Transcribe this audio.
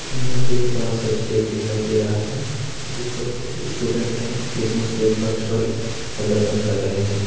यहां पे एक बड़ा सा स्टेज दिखाई दे रहा है जिस पर कुछ स्टूडेंट क्रिसमस के उपलक्ष पर प्रदर्शन कर रहे हैं।